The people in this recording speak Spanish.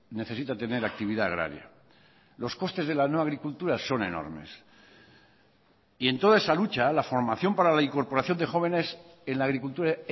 necesita tener actividad agraria los costes de la no agricultura son enormes y en toda esa lucha la formación para la incorporación de jóvenes en la agricultura